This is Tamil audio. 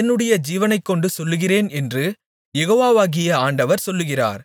என்னுடைய ஜீவனைக்கொண்டு சொல்லுகிறேன் என்று யெகோவாகிய ஆண்டவர் சொல்லுகிறார்